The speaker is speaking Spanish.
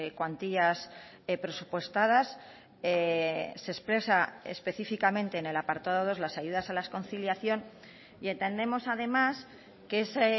cuantías presupuestadas se expresa específicamente en el apartado dos las ayudas a la conciliación y entendemos además que ese